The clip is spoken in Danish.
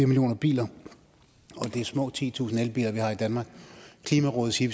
millioner biler og det er små titusind elbiler vi har i danmark klimarådet siger